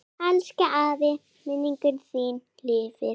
Elsku afi, minning þín lifir.